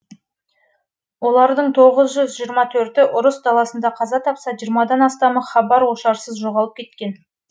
олардың тоғыз жүз жиырма төрті ұрыс даласында қаза тапса жиырмадан астамы хабар ошарсыз жоғалып кеткен